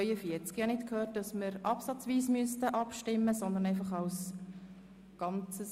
Ich habe nicht gehört, dass absatzweise abgestimmt werden soll.